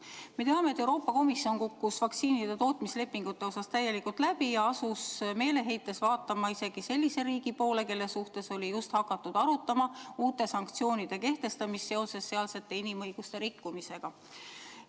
Me teame, et Euroopa Komisjon kukkus vaktsiinide tootmislepingute puhul täielikult läbi ja asus meeleheites vaatama isegi sellise riigi poole, kelle suhtes oli just hakatud arutama uute sanktsioonide kehtestamist seoses sealse inimõiguste rikkumisega.